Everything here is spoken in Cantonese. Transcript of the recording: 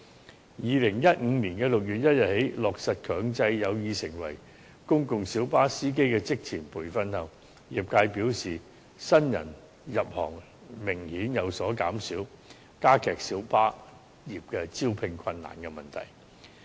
自2015年6月1日起強制有意成為公共小巴司機的人士須接受職前培訓後，業界表示新人入行明顯有所減少，加劇小巴業招聘困難的問題。